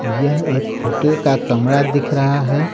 यह एक होटल का कमरा दिख रहा है।